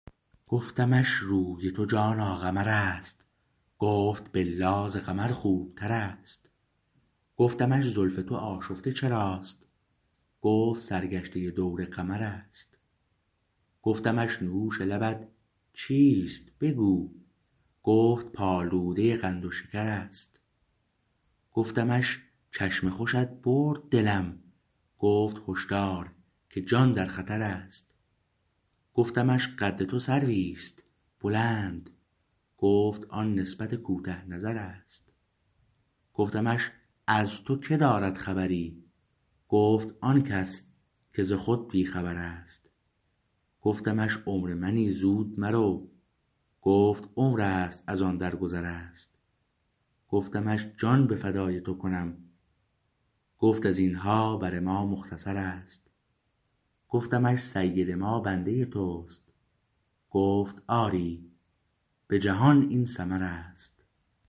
گفتمش روی تو جانا قمر است گفت بالله ز قمر خوبتر است گفتمش زلف تو آشفته چراست گفت سرگشته دور قمر است گفتمش نوش لبت چیست بگو گفت پالوده قند و شکر است گفتمش چشم خوشت برد دلم گفت هشدار که جان در خطر است گفتمش قد تو سرویست بلند گفت آن نسبت کوته نظر است گفتمش از تو که دارد خبری گفت آن کس که ز خود بی خبر است گفتمش عمر منی زود مرو گفت عمرست از آن در گذر است گفتمش جان به فدای تو کنم گفت از اینها بر ما مختصر است گفتمش سید ما بنده تو است گفت آری به جهان این ثمر است